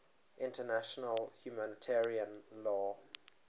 international humanitarian law